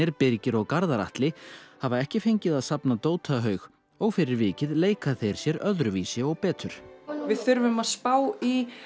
Birgir og Garðar Atli hafa ekki fengið að safna og fyrir vikið leika þeir sér öðruvísi og betur við þurfum að spá í